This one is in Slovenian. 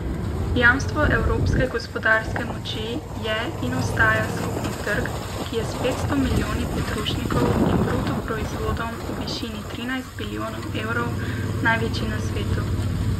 Jamstvo evropske gospodarske moči je in ostaja skupni trg, ki je s petsto milijoni potrošnikov in bruto proizvodom v višini trinajst bilijonov evrov največji na svetu.